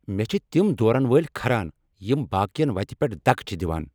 مےٚ چھ تم دورن وٲلۍ کھران یم باقین وتہ پیٹھٕ دکہٕ چھ دوان۔